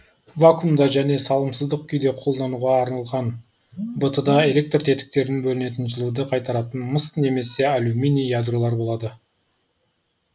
вакуумда және салымсыздық күйде қолдануға арналған бт да электр тетіктерін бөлінетін жылуды қайтаратын мыс немесе алюминий ядролар болады